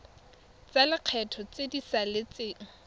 tsa lekgetho tse di saletseng